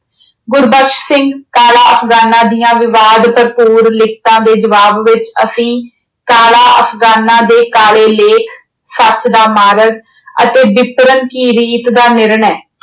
ਗੁਰਬਖਸ਼ ਸਿੰਘ ਕਾਲਾ ਅਫ਼ਗਾਨਾਂ ਦੀਆਂ ਵਿਵਾਦ ਭਰਪੂਰ ਲਿਖਤਾਂ ਦੇ ਜਵਾਬ ਵਿੱਚ ਅਸੀਂ ਕਾਲਾ ਅਫ਼ਗਾਨਾਂ ਦੇ ਕਾਲੇ ਲੇਖ, ਸੱਚ ਦਾ ਮਾਰਗ ਅਤੇ ਬਿਤਰਨ ਕੀ ਰੀਤ ਦਾ ਨਿਰਣੈ